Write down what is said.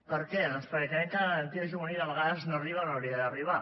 per què doncs perquè creiem que la garantia juvenil a vegades no arriba on hauria d’arribar